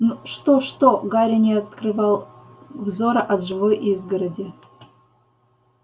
ну что что гарри не открывал взора от живой изгороди